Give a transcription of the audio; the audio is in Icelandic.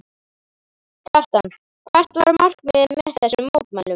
Kjartan, hvert var markmiðið með þessum mótmælum?